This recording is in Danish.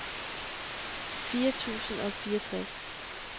fire tusind og fireogtres